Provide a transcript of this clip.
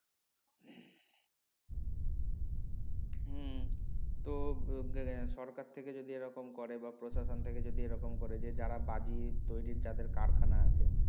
হম তো সরকার থেকে যদি এই রকম করে বা প্রসাশন টা কে যদি এই রকম করে যে যারা বাজি তৈরির যাদের কারখানা আছে